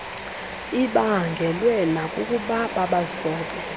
ibaangelwe nakukuba babazobe